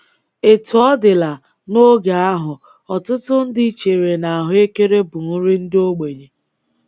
Etu ọ dịla, n’oge ahụ, ọtụtụ ndị chere na ahụekere bụ nri ndị ogbenye.